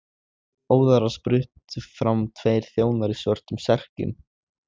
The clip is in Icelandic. Óðara spruttu fram tveir þjónar í svörtum serkjum.